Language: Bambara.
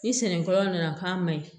Ni senni kolon nana k'a ma ɲi